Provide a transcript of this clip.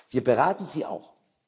Wir beraten sie auch.